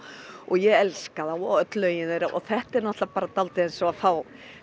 og ég elska þá og öll lögin þeirra þetta er dálítið eins og að fá